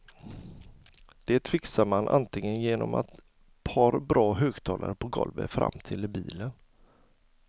Det fixar man antingen genom ett par bra högtalare på golvet framtill i bilen.